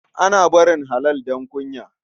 Ana barin halal don kunya.